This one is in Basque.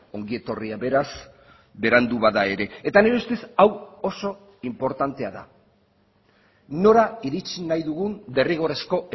ongi etorria beraz berandu bada ere eta nire ustez hau oso inportantea da nora iritsi nahi dugun derrigorrezko